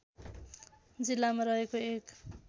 जिल्लामा रहेको एक